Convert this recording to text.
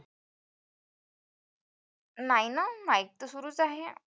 नाही ना mike तर सुरूच आहे.